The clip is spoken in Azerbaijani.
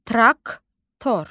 Traktor.